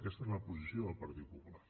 aquesta és la posició del partit popular